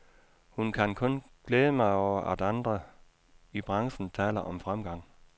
Hun kan kun glæde mig over, at andre i branchen taler om fremgang.